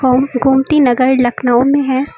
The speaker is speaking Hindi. गोमती नगर लखनऊ में है।